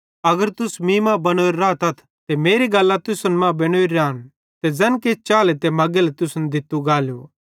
अगर तुस मीं मां बनोरे रातथ ते मेरी गल्लां तुसन मां बेनोरी रैतिन त ज़ैन चाहेले ते मगेले तुसन दित्तू गालू